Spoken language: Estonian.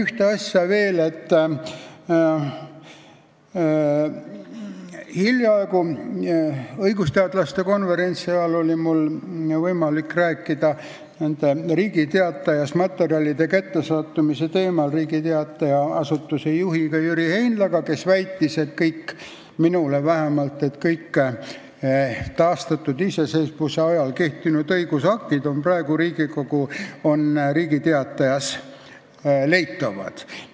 Hiljaaegu korraldatud õigusteadlaste päevade ajal oli mul võimalik rääkida Riigi Teatajas ilmunud materjalide kättesaadavuse teemal Riigi Teataja talituse juhataja Jüri Heinlaga, kes väitis minule, et kõik taastatud iseseisvuse ajal kehtinud õigusaktid on praegu Riigi Teatajast leitavad.